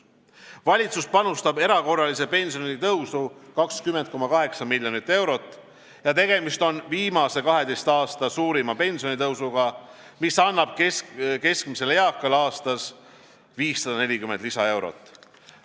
Valitsus panustab erakorralisse pensionitõusu 20,8 miljonit eurot ja tegemist on viimase 12 aasta suurima pensionitõusuga, mis annab keskmisele eakale aastas 540 lisaeurot.